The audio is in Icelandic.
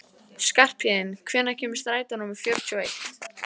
Skarphéðinn, hvenær kemur strætó númer fjörutíu og eitt?